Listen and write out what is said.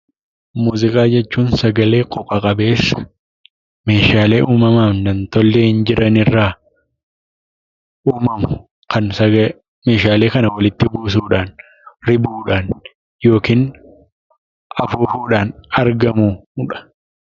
Muuziqaa jechuun; sagalee qooqaa qabeessa meeshaalee uumamaaf nam-tolchee jiran irraa uumamu meeshaalee kana walitti busuudhaan ribuudhaan ykn afuufudhaan argamudha